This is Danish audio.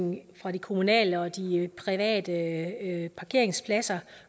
fra de kommunale og de private parkeringspladser